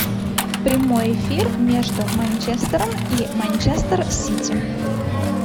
прямой эфир между манчестером и манчестер сити